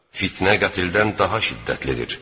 Fitnə qətldən daha şiddətlidir.